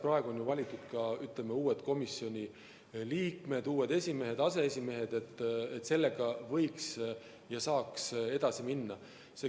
Praegu on valitud ka uued komisjoni liikmed, uued esimehed ja aseesimehed, nii et sellega võiks ja saaks edasi minna.